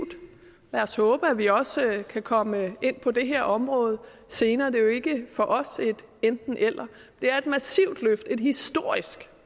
lad os håbe at vi også kan komme ind på det her område senere det er jo ikke for os et enten eller det er et massivt løft et historisk